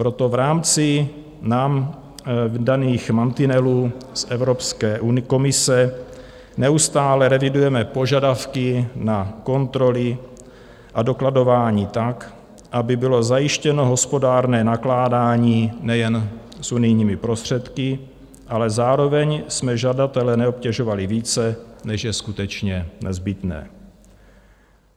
Proto v rámci nám daných mantinelů z Evropské komise neustále revidujeme požadavky na kontroly a dokladování tak, aby bylo zajištěno hospodárné nakládání nejen s unijními prostředky, ale zároveň jsme žadatele neobtěžovali více, než je skutečně nezbytné.